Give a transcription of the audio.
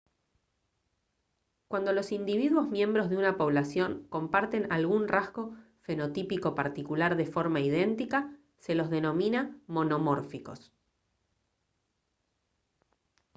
cuando los individuos miembros una población comparten algún rasgo fenotípico particular de forma idéntica se los denomina monomórficos